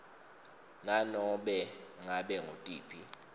nanobe ngabe ngutiphi